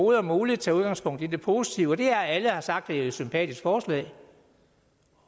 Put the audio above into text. er muligt tage udgangspunkt i det positive og det er at alle har sagt at det er et sympatisk forslag